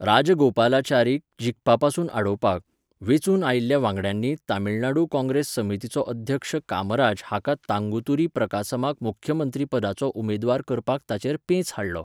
राजागोपालाचारीक जिखपा पसून आडावपाक, वेंचून आयिल्ल्या वांगड्यांनी तमिळनाडू काँग्रेस समितीचो अध्यक्ष कामराज हाका तांगुतूरी प्रकासमाक मुख्यमंत्रीपदाचो उमेदवार करपाक ताचेर पेंच हाडलो.